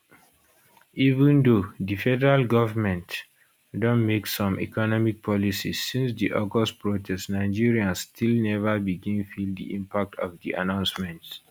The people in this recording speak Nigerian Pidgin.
even though di federal govment don make some economic policies since di august protest nigerians still never begin feel di impact of the announcements